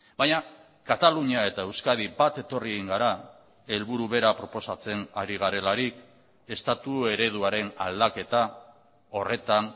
baina katalunia eta euskadi bat etorri egin gara helburu bera proposatzen ari garelarik estatu ereduaren aldaketa horretan